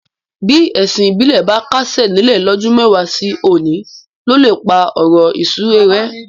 Bí ẹ̀sìn ìbílẹ̀ bá kásẹ̀ nílẹ̀ lọ́dún mẹ́wàá sí òní ló lè pá ọ̀rọ̀ ìsúre rẹ́.